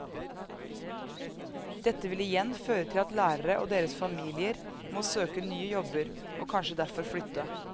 Dette vil igjen føre til at lærere og deres familier må søke nye jobber, og kanskje derfor flytte.